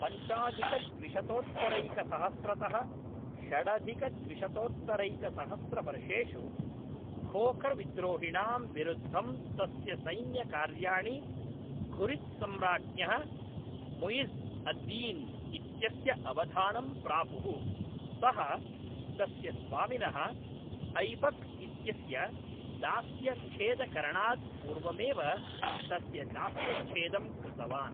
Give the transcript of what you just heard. पञ्चाधिकद्विशतोत्तरैकसहस्रतः षडधिकद्विशतोत्तरैकसहस्रवर्षेषु, खोखर्विद्रोहिणां विरुद्धं तस्य सैन्यकार्याणि घुरिद् सम्राज्ञः मुइज़्ज़् अद्दीन् इत्यस्य अवधानं प्रापुः; सः तस्य स्वामिनः ऐबक्इत्यस्य दास्यच्छेदकरणात् पूर्वमेव तस्य दास्यच्छेदं कृतवान्।